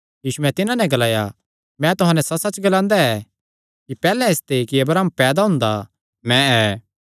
यीशुयैं तिन्हां नैं ग्लाया मैं तुहां नैं सच्चसच्च ग्लांदा ऐ कि पैहल्ले इसते कि अब्राहम पैदा हुंदा मैं ऐ